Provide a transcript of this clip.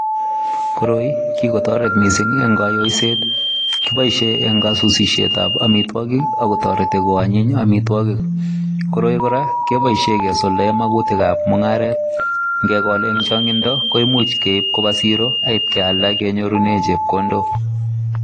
Koroi ko kikotaret mising en kaiyoiset kibaishen en kaiyoiset en amitwagik akotareti bkoanyin amitwagik koroi koraa kebaishen makutik ab mungaret Kwale en changindo Koba siro en kenyorunen chepkondok